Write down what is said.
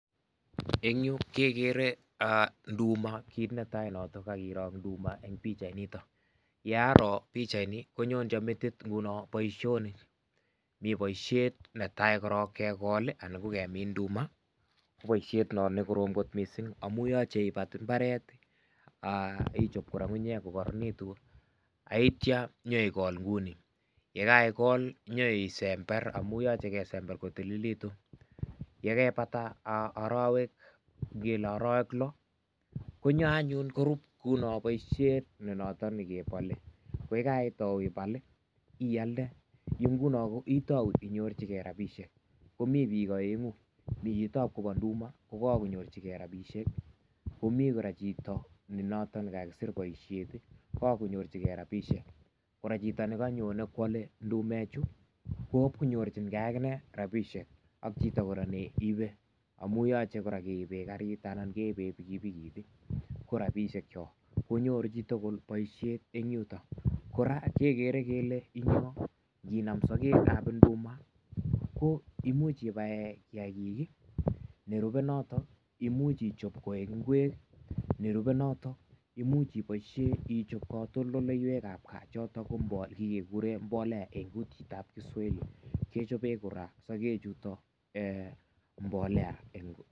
Eng Yuu kegere ndumaa kit ne tai kairoo en pichait nitoon, ye Aroon pichait nitoon konyonchoon metit boisionik mi ,boisiet ne tai korong kekol ii anan ko kemiin nduma ko boisiet noon nekorom missing amuun yachei ibaat mbaret akichaap kora ngungunyeek ko kororonegituun ak yeityaa, inyoikol kou uu nii ak ye kaigol inyoisember amuun yachei kesember ko tililekituun ye kaibataa araweek loo konyoo anyuun koruuut kounono boisiet nekebale ko ye kaitau ibaal ii ,iyalde Yuu ngunoo itau ibeljigei rapisheek komii biik komii Yuu biik aenguu Mii yutoon kobaluu ndumaa ko kakonyoorjigei rapisheek, komii kora chitoo ne notoon ko kakisiir boisiet kakonyoorjigei rapisheek kora, chitoo nekanyonei koyale ndumeek chuu kowa ko nyorjigei aginei rapisheek ak chitoo kora neibe amuu yachei kora keribeen gariit anan keibeen pikipikiit ,ko rapisheek choon konyoor chitoo boisiet en yutoon kora kegere kele bo kamanut inan sageg ab ndumaa ko imuuch ibaen kiagik ii nerubee noton imuuchi ichaap koek kweek ii nerubee notoon imuuch ichapeen katoltoleiweek chotoon ko mbolea eng kutit ab kiswahili kechapeen sageg chutoon mbolea.